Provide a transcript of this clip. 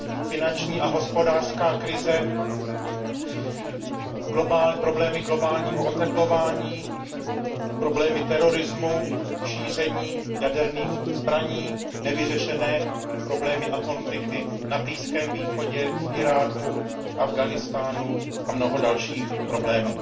Finanční a hospodářská krize, problémy globálního oteplování, problémy terorismu, šíření jaderných zbraní, nevyřešené problémy a konflikty na Blízkém východě, v Iráku, v Afghánistánu a mnoho dalších problémů.